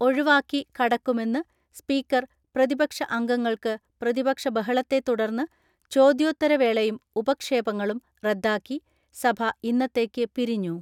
ഒഴിവാക്കി കടക്കുമെന്ന് സ്പീക്കർ പ്രതിപക്ഷ അംഗങ്ങൾക്ക് പ്രതിപക്ഷ ബഹളത്തെ തുടർന്ന് ചോദ്യോത്തരവേളയും ഉപക്ഷേപങ്ങളും റദ്ദാക്കി സഭ ഇന്നത്തേക്ക് പിരിഞ്ഞു.